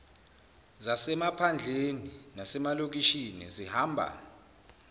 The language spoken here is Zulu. zasemaphandleni nasemalokishini zihamba